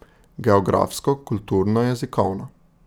Geografsko, kulturno, jezikovno.